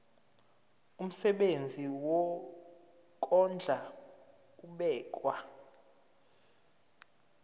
umsebenzi wokondla ubekwa